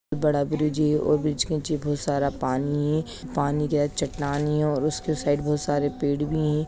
बहुत बड़ा ब्रिज हैऔर ब्रिज के नीचे बहुत सारा पानी है पानी के चट्टान है और उसके साइड बहोत सारे पेड़ भी है।